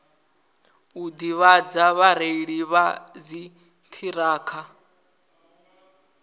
u ḓivhadza vhareili vha dziṱhirakha